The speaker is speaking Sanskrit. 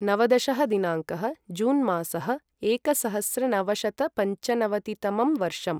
नवदशः दिनाङ्कः जून् मासः एकसहस्रनवशतपञ्चनवतितमं वर्षम्